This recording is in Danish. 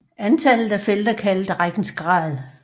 Antallet af felter kaldes rækkens grad